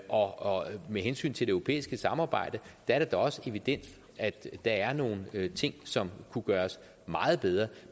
og med hensyn til det europæiske samarbejde er det da også evident at der er nogle ting som kunne gøres meget bedre